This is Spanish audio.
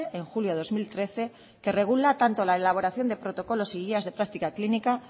en julio de dos mil trece que regula tanto la elaboración de protocolos y guías de práctica clínica